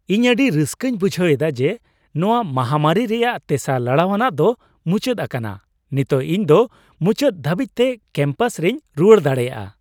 ᱤᱧ ᱟᱹᱰᱤ ᱨᱟᱹᱥᱠᱟᱹᱧ ᱵᱩᱡᱷ ᱮᱫᱟ ᱡᱮ ᱱᱚᱣᱟ ᱢᱟᱦᱟᱢᱟᱹᱨᱤ ᱨᱮᱭᱟᱜ ᱛᱮᱥᱟᱨ ᱞᱟᱲᱟᱣᱟᱱᱟᱜ ᱫᱚ ᱢᱩᱪᱟᱹᱫ ᱟᱠᱟᱱᱟ ᱾ ᱱᱤᱛᱚᱜ ᱤᱧ ᱫᱚ ᱢᱩᱪᱟᱹᱫ ᱫᱷᱟᱹᱵᱤᱡᱛᱮ ᱠᱮᱢᱯᱟᱥ ᱨᱮᱧ ᱨᱩᱣᱟᱹᱲ ᱫᱟᱲᱮᱭᱟᱜᱼᱟ ᱾